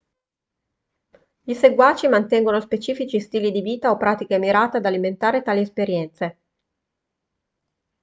i seguaci mantengono specifici stili di vita o pratiche mirate ad alimentare tali esperienze